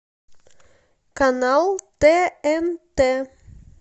канал тнт